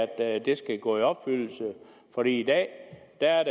at det skal gå i opfyldelse for i dag